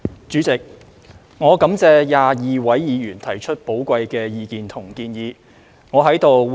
主席，我感謝22位議員提出寶貴意見和建議。